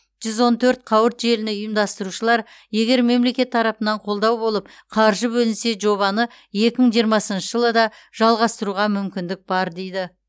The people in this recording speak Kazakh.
жүз он төрт қауырт желіні ұйымдастырушылар егер мемлекет тарапынан қолдау болып қаржы бөлінсе жобаны екі мың жиырмасыншы жылы да жалғастыруға мүмкіндік бар дейді